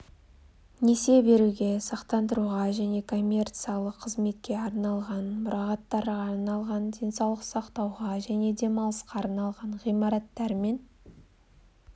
несие беруге сақтандыруға және коммерциялық қызметке арналған мұрағаттарға арналған денсаулық сақтауға және демалысқа арналған ғимараттар мен